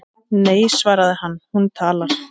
Nei svaraði hann, hún talar